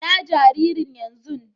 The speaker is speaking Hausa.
Inna jaririn yanzun?